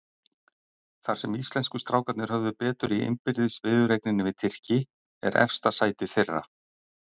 Þar sem íslensku strákarnir höfðu betur í innbyrðis viðureigninni við Tyrki, er efsta sætið þeirra.